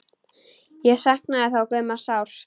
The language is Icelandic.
Ég saknaði þó Gumma sárt.